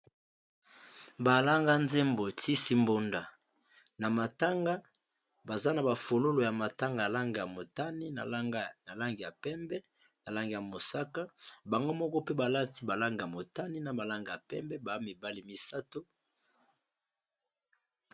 Ba langa zembo tisi mbunda na matanga. Baza na ba fololo ya matanga ya langi ya motani ya langi ya pembe na langi ya mosaka. Bango moko pe ba lati ba langi ya motani na ba langi ya pembe. Baa mibale misato.